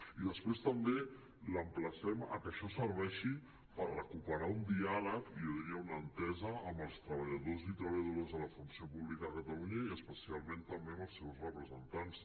i després també l’emplacem a que això serveixi per recuperar un diàleg i jo diria una entesa amb els treballadors i treballadores de la funció pública a catalunya i especialment també amb els seus representants